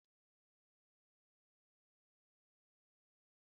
Ogiri bekee na eme ka ofe tọ̀ọ ụtọ